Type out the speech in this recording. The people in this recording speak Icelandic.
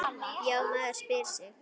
Já, maður spyr sig?